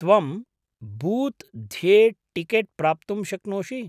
त्वं बूत् ध्ये टिकेट् प्राप्तुं शक्नोषि।